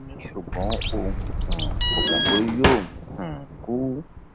ó ní ṣùgbọn òun um kò mọ pé yóò um kú